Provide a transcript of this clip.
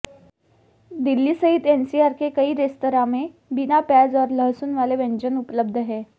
दिल्ली सहित एनसीआर के कई रेस्तरां में बिना प्याज़ और लहसुन वाले व्यंजन उपलब्ध हैं